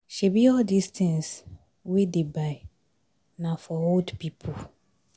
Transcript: Shebi all dis tins we dey buy na for old people?